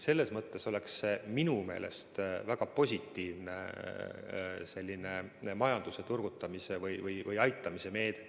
Selles mõttes oleks see minu meelest väga positiivne majanduse turgutamise või aitamise meede.